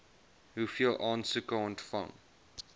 hoeveel aansoeke ontvang